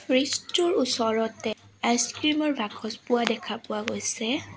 Fridge টোৰ ওচৰতে ice cream ৰ বাকচ পোৱা দেখা পোৱা গৈছে।